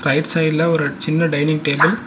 Right சைடுல ஒரு சின்ன டைனிங் டேபிள் .